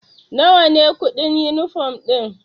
Nawa ne kuɗin yunifom ɗin?